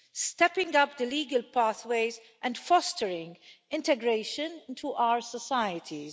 stepping up the legal pathways and fostering integration into our societies.